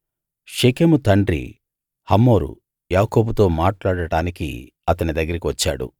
షెకెము తండ్రి హమోరు యాకోబుతో మాట్లాడడానికి అతని దగ్గరికి వచ్చాడు